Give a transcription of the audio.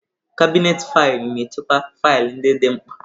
Kabinetị faịlụ na-echekwa faịlụ ndị dị mkpa.